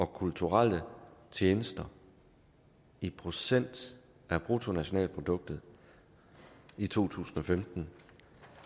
kulturelle tjenester i procent af bruttonationalproduktet i to tusind og femten